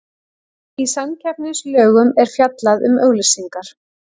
Í samkeppnislögum er fjallað um auglýsingar.